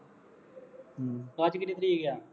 ਅੱਜ ਕਿੰਨੀ ਤਾਰੀਖ ਹੈ